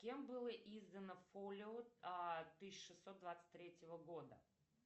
кем было издано фолио тысяча шестьсот двадцать третьего года